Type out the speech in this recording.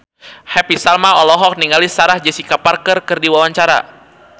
Happy Salma olohok ningali Sarah Jessica Parker keur diwawancara